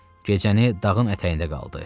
Gecəni dağın ətəyində qaldı.